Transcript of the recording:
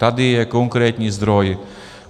Tady je konkrétní zdroj.